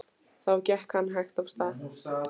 Þá gekk hann hægt af stað.